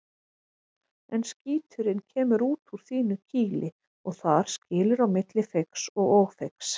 En skíturinn kemur út úr þínu kýli og þar skilur á milli feigs og ófeigs.